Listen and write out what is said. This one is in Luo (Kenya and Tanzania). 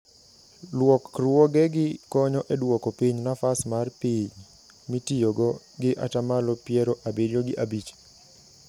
Luokruogegi konyo edwoko piny nafas mar piny mitiyogo gi atamalo piero abirio gi abich.